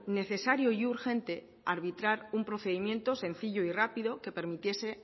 necesario y urgente arbitrar un procedimiento sencillo y rápido que permitiese